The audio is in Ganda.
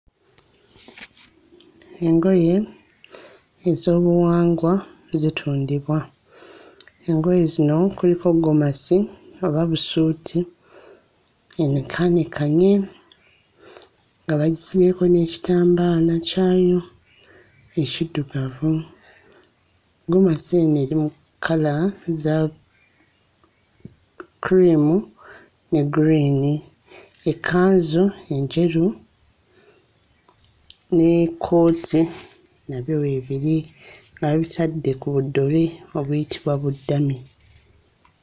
Engoye ez'obuwangwa zitundibwa. Engoye zino kuliko ggomasi oba busuuti enekaanekanye nga bagisibyeko n'ekitambaala kyayo ekiddugavu. Ggomasi eno eri mu kkala za cream ne green. Ekkanzu enjeru n'ekkooti nabyo weebiri nga babitadde ku buddole obuyitibwa buddami.